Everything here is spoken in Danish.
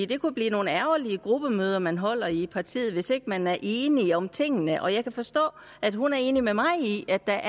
det kunne blive nogle ærgerlige gruppemøder man holder i partiet hvis ikke man er enige om tingene jeg kan forstå at hun er enig med mig i at der